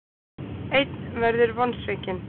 Einn verður vonsvikinn.